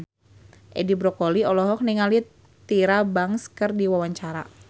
Edi Brokoli olohok ningali Tyra Banks keur diwawancara